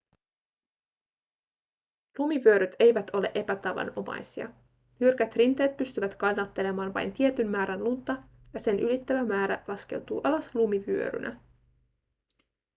lumivyöryt eivät ole epätavanomaisia jyrkät rinteet pystyvät kannattelemaan vain tietyn määrän lunta ja sen ylittävä määrä laskeutuu alas lumivyörynä